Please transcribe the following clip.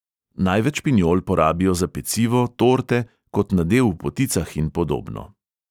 Največ pinjol porabijo za pecivo, torte, kot nadev v poticah in podobno.